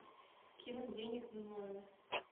кинуть денег на номер